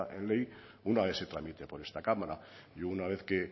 en ley una vez se tramite por esta cámara y una vez que